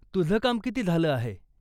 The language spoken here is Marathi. तुझं किती काम झालं आहे?